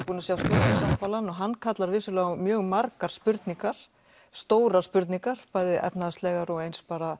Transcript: búin að sjá stjórnarsáttmálann og hann kallar vissulega á mjög margar spurningar stórar spurningar bæði efnahagslegar og eins bara